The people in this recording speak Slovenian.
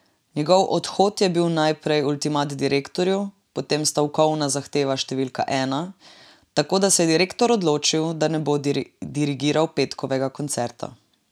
Njegov odhod je bil najprej ultimat direktorju, potem stavkovna zahteva številka ena, tako da se je direktor odločil, da ne bo dirigiral petkovega koncerta.